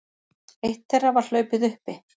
Eitt þeirra var hlaupið uppi